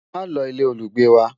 má ló ilé olugbe wà